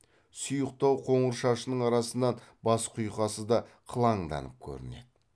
сұйықтау қоңыр шашының арасынан бас құйқасы да қылаңданып көрінеді